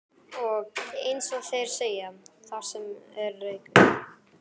Og, eins og þeir segja: Þar sem er reykur.